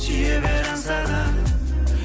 сүйе бер аңсағаным